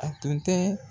A tun tɛ